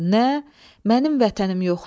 Nə, mənim vətənim yoxdur?